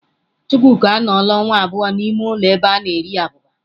Chukwuka anọọla ọnwa abụọ n'ime ụlọ ebe a na-eri abụba.